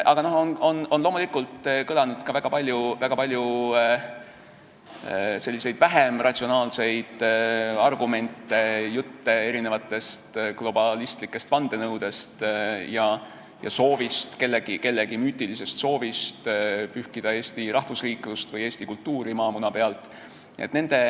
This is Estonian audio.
Aga loomulikult on kõlanud ka väga palju vähem ratsionaalseid argumente, jutte globalistlikest vandenõudest ja kellegi müütilisest soovist pühkida eesti rahvusriiklust või eesti kultuuri maamuna pealt.